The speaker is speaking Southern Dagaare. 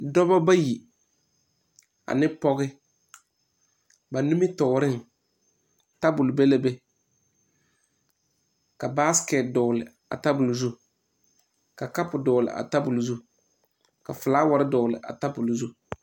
Dɔba bayi ane pɔge ba nimitɔɔreŋ tabol be la be ka basekɛte dɔgle a tabol zu ka kapu dɔgle a tabol zu ka filawari dɔgle a tabol zu.